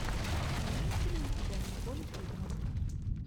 имеется ли у тебя николь кидман